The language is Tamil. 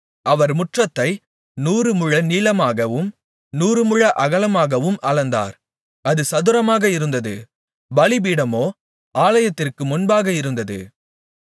அவர் முற்றத்தை நூறுமுழ நீளமாகவும் நூறுமுழ அகலமாகவும் அளந்தார் அது சதுரமாக இருந்தது பலிபீடமோ ஆலயத்திற்கு முன்பாக இருந்தது